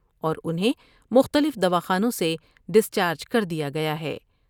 اور انہیں مختلف دوا خانوں سے ڈسچارج کر دیا گیا ہے ۔